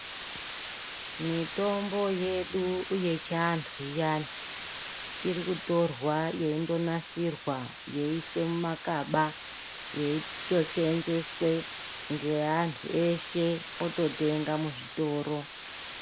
Mitombo yedu yechiantu iyani ,iri kutorwa yeindonasirwa, yeiiswe mumakaba, yeitoseenzeswe ngeantu eshe ,ototenga muzvitoro.